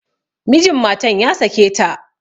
Mijin matan ya sake ta.